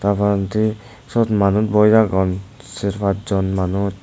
tar porendi siyot manuj boi agon ser pas jon manuj.